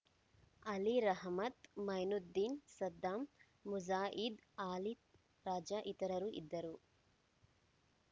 ಅಲಿ ರಹಮತ್‌ ಮೈನುದ್ದೀನ್‌ ಸದ್ದಾಂ ಮುಜಾಹಿದ್‌ ಆಲಿದ್ ರಾಜ ಇತರರು ಇದ್ದರು